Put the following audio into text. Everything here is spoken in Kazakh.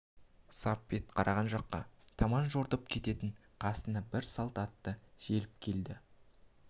сап бет қараған жаққа таман жортып кететін қасына бір салт атты желіп келді